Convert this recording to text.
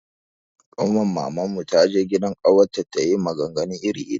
Kanwar Maman mu ta je gidan ƙawarta ta yi maganganu iri iri.